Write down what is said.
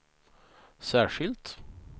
särskilt